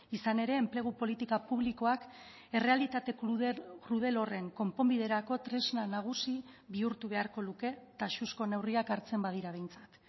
izan ere enplegu politika publikoak errealitate krudel horren konponbiderako tresna nagusi bihurtu beharko luke taxuzko neurriak hartzen badira behintzat